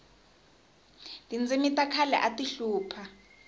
tindzimi ta khale ati hlupha